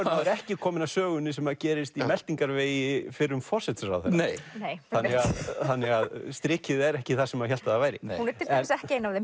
maður ekki kominn að sögunni sem gerist í meltingarvegi fyrrum forsætisráðherra þannig að strikið er ekki þar sem maður hélt að það væri hún er til dæmis ekki ein af þeim